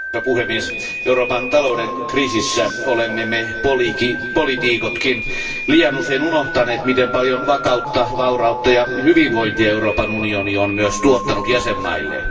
Arvoisa puhemies, Euroopan talouden kriisissä me poliitikotkin olemme liian usein unohtaneet miten paljon vakautta, vaurautta ja hyvinvointia Euroopan unioni on myös tuottanut jäsenvaltioilleen.